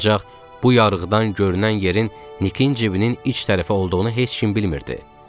Ancaq bu yarıqdan görünən yerin Nikin cibinin iç tərəfi olduğunu heç kim bilmirdi.